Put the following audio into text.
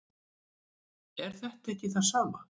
er þetta ekki það sama